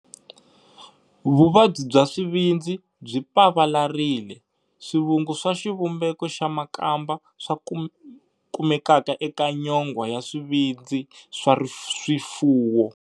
Vuvabyi bya swivindzi byi pavalarile, swivungu swa xivumbeko xa makamba swa kumekaka eka nyongwa ya swivindzi swa swifuwo.